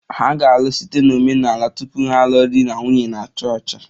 Ha ga-alụ omenala tupu ha alụọ di na nwunye na chọọchị